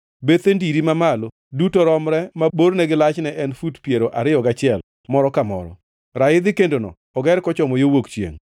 Bethe ndiri mamalo duto romre ma borne gi lachne en fut piero ariyo gachiel moro ka moro. Raidhi kendono oger kochomo yo wuok chiengʼ.”